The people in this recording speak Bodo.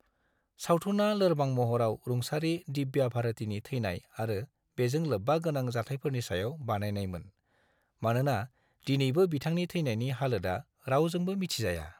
सावथुनआ लोरबां महराव रुंसारि दिव्या भारतीनि थैनाय आरो बेजों लोब्बा गोनां जाथायफोरनि सायाव बानायनायमोन, मानोना दिनैबो बिथांनि थैनायनि हालोदआ रावजोंबो मिथिजाया।